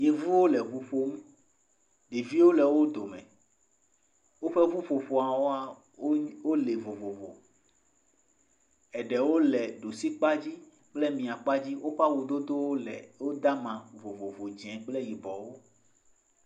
Yevuwo le ŋu ƒom. Ɖeviwo le wo dome. Woƒe ƒuƒoƒoa wa wole vovovo, eɖewo le ɖusi kpa dzi, kple mia kpa dzi. Woƒe awu dodo wo le, wode amaa vovovo dzɛ kple yibɔwo.